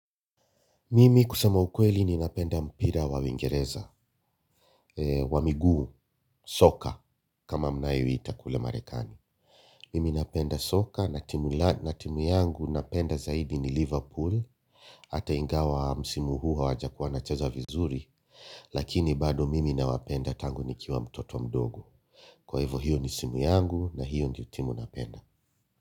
Mimi kusema ukweli ni napenda mpira wa Uingereza, wa miguu soka kama mnayoiita kule Marekani. Mimi napenda soka, na timu yangu napenda zaidi ni Liverpool, hata ingawa msimu huu hawajakuwa wana cheza vizuri, lakini bado mimi nawapenda tangu ni kiwa mtoto mdogo. Kwa hivo hiyo ni simu yangu na hiyo ni timu napenda.